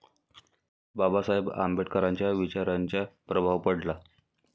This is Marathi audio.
बाबासाहेब आंबेडकरांच्या विचारांचा प्रभाव पडला.